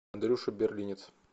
андрюша берлинец